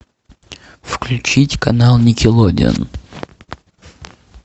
включить канал никелодион